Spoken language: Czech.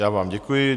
Já vám děkuji.